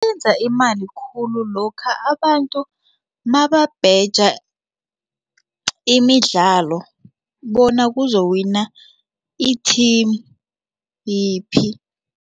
Benza imali khulu lokha abantu nababheja imidlalo bona kuzowina i-team yiphi.